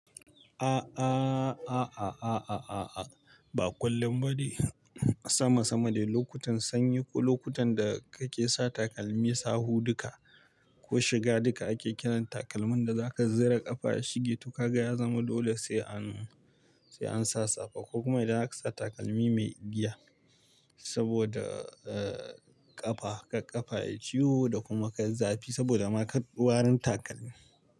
A'a, ba kullum ba ne, sama sama dai lokutan sanyi ko lokutan da kake sa takalmi sa huɗuka ko shiga duka ake kiran takalmin da zaka zira ƙafa shige, to ka ga ya zama dole sai an sai an sa safa ko kuma idan aka sa takalmi mai igiya saboda ƙafa ka ƙafa yayi ciwo da kuma ka yi zafi saboda maka warin takalmi.